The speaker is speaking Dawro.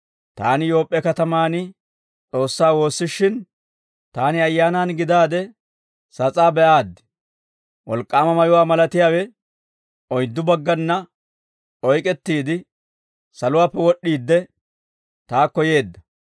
«Taani Yoop'p'e katamaan S'oossaa woossishin, taani Ayyaanaan gidaade sas'aa be'aaddi; wolk'k'aama mayuwaa malatiyaawe oyddu baggana oyk'ettiide, saluwaappe wod'd'iide, taakko yeedda.